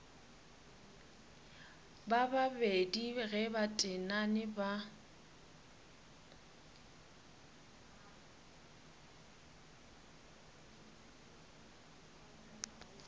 babedi ge ba tenane ba